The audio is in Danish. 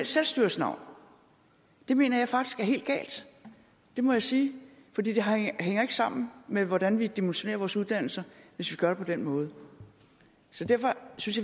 selvstyres navn det mener jeg faktisk er helt galt det må jeg sige for det hænger ikke sammen med hvordan vi dimensionerer vores uddannelser hvis vi gør det på den måde så derfor synes